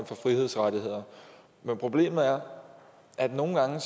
for frihedsrettigheder men problemet er at nogle gange